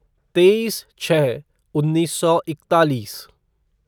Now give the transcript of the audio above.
तेईस छः उन्नीस सौ इकतालीस